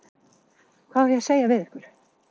Hvað á ég að segja við ykkur?